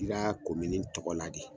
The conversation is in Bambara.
I ka kɔmini tɔgɔ la de.